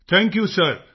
thank you sir